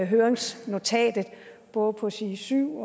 høringsnotatet både på side syv